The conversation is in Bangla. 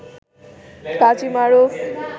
কাজী মারুফ